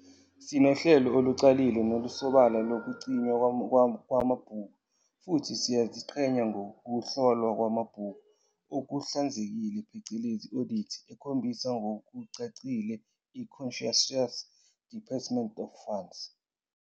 Sinohlelo olucacile nolusobala lokugcinwa kwamabhuku futhi siyaziqhenya ngokuhlolwa kwamabhuku okuhlanzekile phecelezi audits ekhombisa ngokucacile iconscientious disbursement of funds.